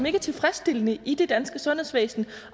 ikke er tilfredsstillende i det danske sundhedsvæsen